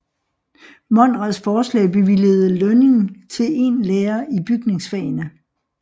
Monrads forslag bevilgede lønning til en lærer i bygningsfagene